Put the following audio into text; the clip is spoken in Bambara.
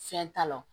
Fɛn t'a la